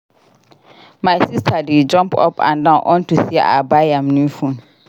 My sister dey jump up and down unto say I buy am new phone